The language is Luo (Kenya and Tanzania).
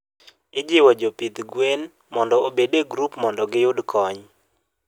ijiwo jopidh gwen mondo obed e group mondo giyud kony